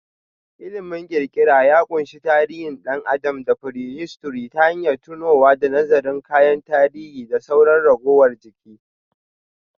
Ilimin kirkira ya ƙunshi tarihin ɗan adam da prehistory ta hanyar tonowa da nazarin kayan tarihi da sauran ragowar jiki.